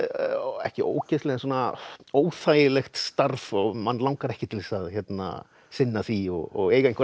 ekki ógeðsleg en svona óþægilegt starf og mann langar ekki til að sinna því og eiga einhverja